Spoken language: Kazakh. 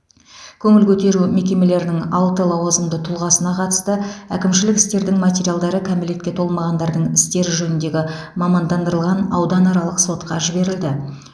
көңіл көтеру мекемелерінің алты лауазымды тұлғасына қатысты әкімшілік істердің материалдары кәмелетке толмағандардың істері жөніндегі мамандандырылған ауданаралық сотқа жіберілді